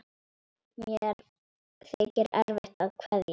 Mér þykir erfitt að kveðja.